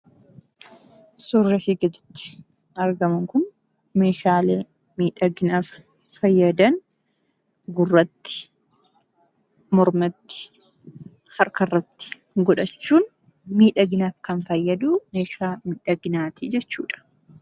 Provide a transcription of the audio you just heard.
Suurri asii gaditti argamu kun meeshaa miidhaginaaf fayyadan gurratti, mormatti, harkarratti godhachuun miidhaginaaf kan meeshaa miidhaginaati jechuudha.